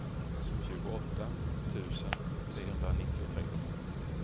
tjugoåtta tusen trehundranittiotre